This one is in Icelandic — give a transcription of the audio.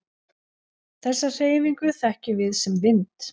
Þessa hreyfingu þekkjum við sem vind.